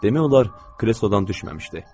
Demək olar, kreslodan düşməmişdi.